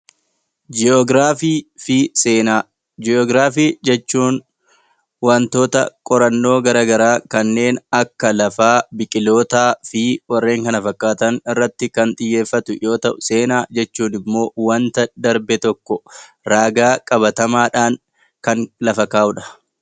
Jii'oogiraafii jechuun wantoota qorannoo garaagaraa kanneen akka lafaa, biqilootaa, fi warreen kana fakkaatan irratti kan xiyyeeffatu yoo ta'u seenaa jechuun immoo wanta darbe tokko ragaa qabatamaadhaan kan lafa kaa'udha